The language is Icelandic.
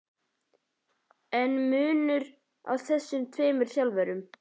Er munur á þessum tveimur þjálfurum?